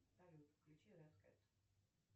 салют включи рэд кэт